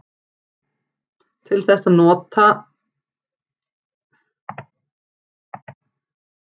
Til þess nota þeir aðferðir stærðfræðinnar.